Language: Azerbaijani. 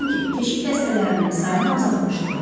Çünki keşik dəstələrinin sayını azaltmışdılar.